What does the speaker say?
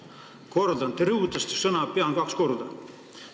Kordan: te rõhutasite sõna "pean" kaks korda.